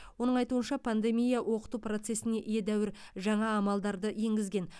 оның айтуынша пандемия оқыту процесіне едәуір жаңа амалдарды енгізген